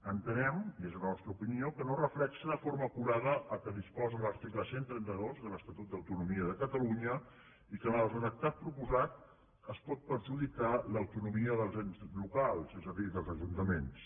entenem i és la nostra opi·nió que no reflecteix de forma acurada el que disposa l’article cent i trenta dos de l’estatut d’autonomia de catalunya i que amb el redactat proposat es pot perjudicar l’auto·nomia dels ens locals és a dir dels ajuntaments